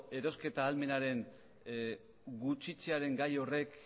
erosketa ahalmenaren gutxitzearen gai horrek